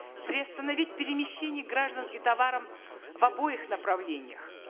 приостановить перемещение граждан и в обоих направлениях